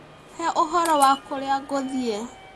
He ũhoro wa kũrĩa ngũthiĩ.